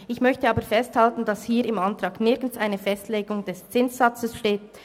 Ich möchte aber festhalten, dass hier im Antrag nirgends eine Festlegung des Zinssatzes vorhanden ist.